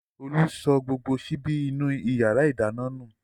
Olú sọ gbogbo ṣíbí inú ìyàrá-ìdáná nù.